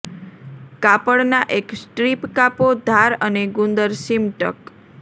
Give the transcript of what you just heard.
કાપડનાં એક સ્ટ્રીપ કાપો ધાર અને ગુંદર સીમ ટક